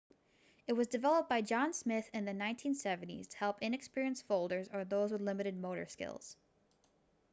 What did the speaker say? it was developed by john smith in the 1970s to help inexperienced folders or those with limited motor skills